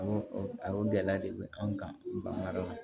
Awɔ a y'o gɛlɛya de bɛ anw kan bagan